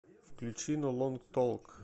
включи ноу лонг толк